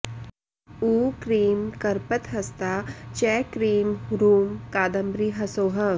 ऊ क्रीं कर्पतहस्ता च क्रीं ह्रूं कादम्बरी हसौः